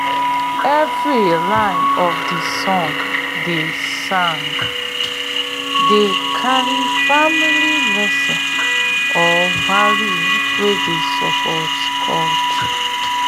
every line of de song dey song dey carry farming lesson or value wey dey support culture